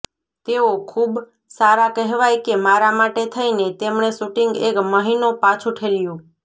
તેઓ ખૂબ સારા કહેવાય કે મારા માટે થઈને તેમણે શૂટિંગ એક મહિનો પાછું ઠેલ્યું